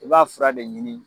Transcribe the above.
I b'a fura de ɲini